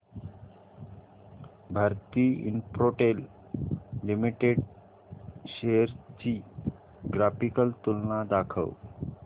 Bharti Infratel limited shares ची graphical तुलना दाखव